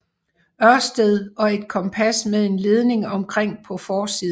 Ørsted og et kompas med en ledning omkring på forsiden